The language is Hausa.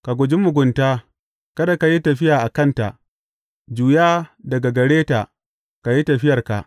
Ka guji mugunta, kada ka yi tafiya a kanta; juya daga gare ta ka yi tafiyarka.